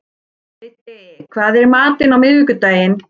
Biddi, hvað er í matinn á miðvikudaginn?